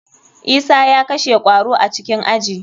Isa ya kashe kwaro a cikin aji.